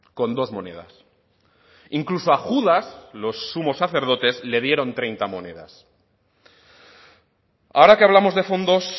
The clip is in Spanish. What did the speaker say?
con dos monedas incluso a judas los sumos sacerdotes le dieron treinta monedas ahora que hablamos de fondos